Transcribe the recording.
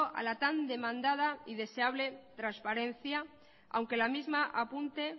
a la tan demandada y deseable transparencia aunque la misma apunte